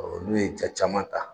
n'u ye jaa caman ta